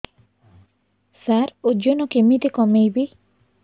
ସାର ଓଜନ କେମିତି କମେଇବି